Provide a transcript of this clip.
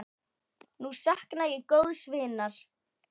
Nú sakna ég góðs vinar.